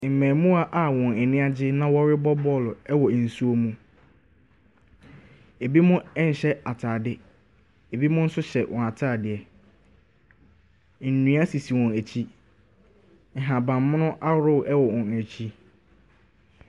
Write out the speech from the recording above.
Mmarimaa a wɔn ani agye na wɔrebɔ bɔɔlo wɔ nsuo mu. Ɛbinom nhyɛ atadeɛ, ɛbinom nso hyɛ wɔn atadeɛ. Nnua sisi wɔn akyi. Nhabammono ahodoɔ wɔ wɔn akyi.